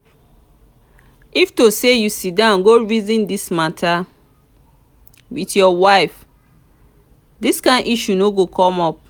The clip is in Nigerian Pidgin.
if to say you sit down go reason dis matter with your wife dis kyn issue no go come up